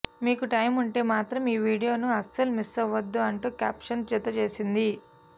మీకు టైముంటే మాత్రం ఈ వీడియోను అస్సలు మిస్సవ్వద్దు అంటూ క్యాప్షన్ జతచేసింది